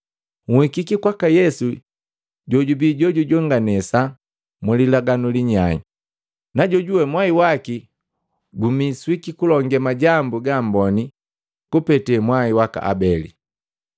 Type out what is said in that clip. Nhikiki kwa Yesu jojubii jojujonganesa mu lilaganu linyai, na jojuwe mwai waki go gumiswiki gulonge majambu gaamboni kupeta mwai waka Abeli.